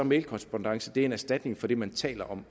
mailkorrespondance en erstatning for det man taler om